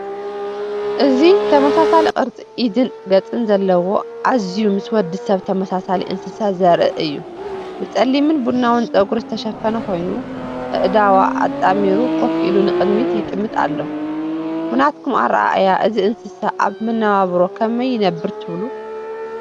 እዚ ተመሳሳሊ ቅርጺ ኢድን ገጽን ዘለዎ ኣዝዩ ምስ ወዲ ሰብ ተመሳሳሊ እንስሳ ዘርኢ እዩ። ብጸሊምን ቡናውን ጸጉሪ ዝተሸፈነ ኮይኑ፡ ኣእዳዋ ኣጣሚሩ ኮፍ ኢሉ ንቕድሚት ይጥምት ኣሎ። ብናትኩም ኣረኣእያ እዚ እንስሳ ኣብ መነባብሮኡ ከመይ ይነብር ትብሉ?